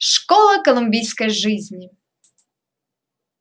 школа колумбийской жизни